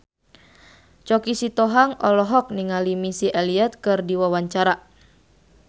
Choky Sitohang olohok ningali Missy Elliott keur diwawancara